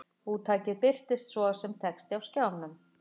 Úttakið birtist svo sem texti á skjánum.